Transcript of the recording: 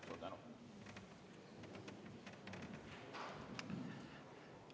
Suur tänu!